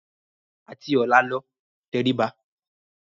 Àti ọ̀la lọ, tẹrí ba.